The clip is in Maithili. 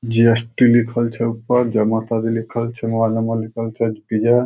जी.एस.टी. लिखल छै ओय पर जमा लिखल छै मोबाइल नंबर लिखल छै --